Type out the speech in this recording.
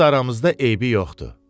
Öz aramızda eybi yoxdur.